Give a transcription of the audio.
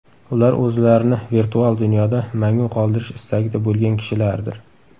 Ular o‘zlarini virtual dunyoda mangu qoldirish istagida bo‘lgan kishilardir.